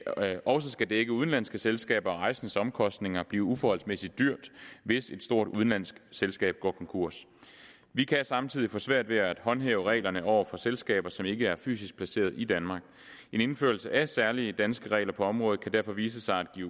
også skal dække udenlandske selskaber og rejsendes omkostninger blive uforholdsmæssig dyrt hvis et stort udenlandsk selskab går konkurs vi kan samtidig få svært ved at håndhæve reglerne over for selskaber som ikke er fysisk placeret i danmark en indførelse af særlige danske regler på området kan derfor vise sig at give